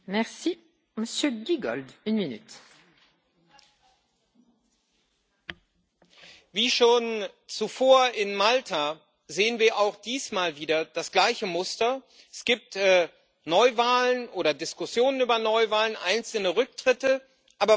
Frau Präsidentin! Wie schon zuvor in Malta sehen wir auch diesmal wieder das gleiche Muster Es gibt Neuwahlen oder Diskussionen über Neuwahlen, einzelne Rücktritte, aber was wir eigentlich brauchen, ist die Aufklärung